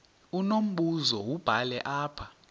unombuzo wubhale apha